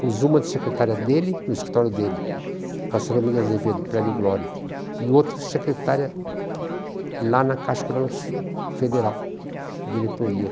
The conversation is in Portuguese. Pôs uma de secretária dele no escritório dele, na Praça Lama de Azevedo, Prédio Glória, e outra secretária lá na Caixa econômica Federal, na diretoria.